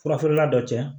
Furafeerela dɔ cɛ